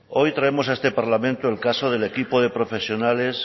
hoy traemos a esta parlamento el caso del equipo de profesionales